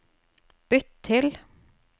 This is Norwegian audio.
bytt til